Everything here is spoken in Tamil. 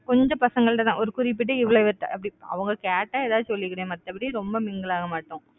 கொஞ்சம் பசங்கள்ட்டதான் ஒரு குறிப்பிட்டு இவ்வளவு பேர்கிட்ட அப்படி அவங்க கேட்டா ஏதாவது சொல்லிக்கிறேன். மத்தபடி ரொம்ப mingle ஆக மாட்டோம்